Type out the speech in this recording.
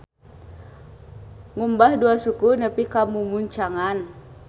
Ngumbah dua suku nepi ka mumuncangan.